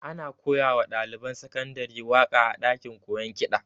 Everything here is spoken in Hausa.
Ana koya wa ɗaliban sakandare waƙa a ɗakin koyon kiɗa